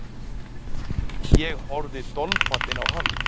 Ég horfði dolfallinn á hann.